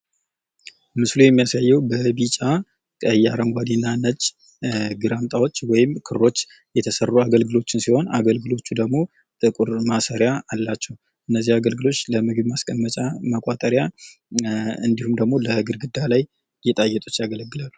ምስሉ የሚያሳዬው በቢጫ፣ ቀይ፣ አረጓዴና ነጭ ግራምጣዎች ወይም ክሮች የተሰሩ አገልግሎችን ሲሆን አገልግሎቹ ደሞ ጥቁር ማሰርያ አላቸው። እነዚህ አገልግሎች ለምግብ ማስቀመጫ፣ መቋጠርያ እንዲሁም ደሞ ለግርግዳ ላይ ለጌጣጌጥነት ያገለግላሉ።